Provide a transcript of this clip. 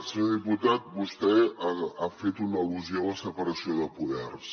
senyor diputat vostè ha fet una al·lusió a la separació de poders